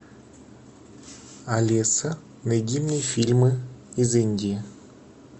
алиса найди мне фильмы из индии